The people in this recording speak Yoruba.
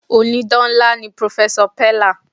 Ònídán ńlá ni pròfẹ́sọ̀ pẹ̀là.